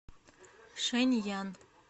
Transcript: шэньян